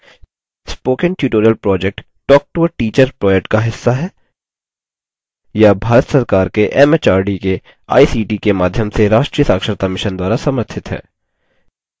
spoken tutorial project talktoateacher project का हिस्सा है यह भारत सरकार के एमएचआरडी के आईसीटी के माध्यम से राष्ट्रीय साक्षरता mission द्वारा समर्थित है